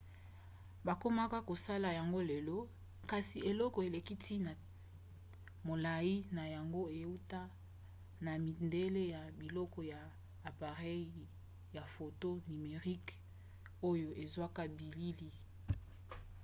bakomaka kosala yango lelo kasi eloko eleki ntina molai na yango euta na midele ya biloko ya apareyi ya foto nimerique oyo ezwaka bilili